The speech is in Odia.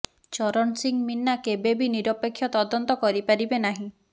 ଚରଣ ସିଂ ମିନା କେବେ ବି ନିରପେକ୍ଷ ତଦନ୍ତ କରିପାରିବେ ନାହିଁ